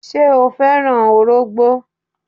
Ṣé o fẹ́ràn ọrọ̀gbó?